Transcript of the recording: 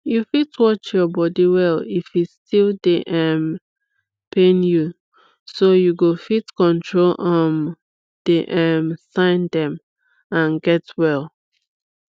you fit watch your body well if e still dey um pain youso you go fit control um the um sign dem and get well